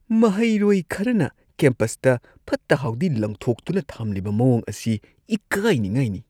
ꯃꯍꯩꯔꯣꯏ ꯈꯔꯅ ꯀꯦꯝꯄꯁꯇ ꯐꯠꯇ ꯍꯥꯎꯗꯤ ꯂꯪꯊꯣꯛꯇꯨꯅ ꯊꯝꯂꯤꯕ ꯃꯋꯣꯡ ꯑꯁꯤ ꯏꯀꯥꯢꯅꯤꯉꯥꯢꯅꯤ꯫